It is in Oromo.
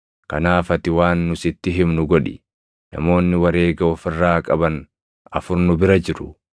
Kanaaf ati waan nu sitti himnu godhi; namoonni wareega of irraa qaban afur nu bira jiru.